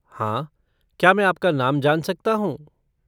हाँ। क्या मैं आपका नाम जान सकता हूँ?